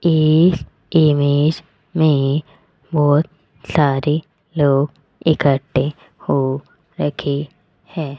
इस इमेज मे बहुत सारे लोग इकट्ठे हो रखे है।